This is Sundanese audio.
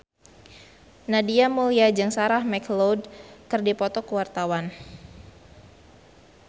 Nadia Mulya jeung Sarah McLeod keur dipoto ku wartawan